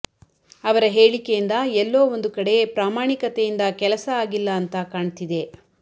ಅವರ ಹೇಳಿಕೆಯಿಂದ ಎಲ್ಲೋ ಒಂದು ಕಡೆ ಪ್ರಾಮಾಣಿಕತೆಯಿಂದ ಕೆಲಸ ಆಗಿಲ್ಲ ಅಂತಾ ಕಾಣ್ತಿದೆ